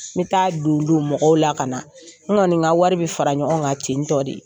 N bɛ taa don don mɔgɔw la ka na n kɔni ka wari bɛ fara ɲɔgɔn kan tentɔ de ,